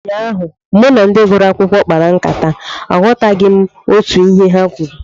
Ụnyaahụ, mụ na ndị gụrụ akwụkwọ kpara nkata, aghọtaghị m otú ihe ha kwuru